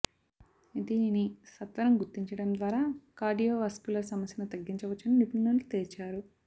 దీనిని సత్వరం గుర్తించడం ద్వారా కార్డియోవాస్క్యులర్ సమస్యను తగ్గించవచ్చని నిపుణులు తేల్చారు